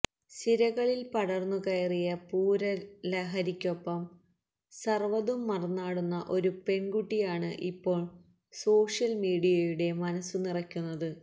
സിരകളിൽ പടർന്നു കയറിയ പൂര ലഹരിക്കൊപ്പം സർവ്വതും മറന്നാടുന്ന ഒരു പെൺകുട്ടിയാണ് ഇപ്പോൾ സോഷ്യൽ മീഡിയയുടെ മനസു നിറയ്ക്കുന്നത്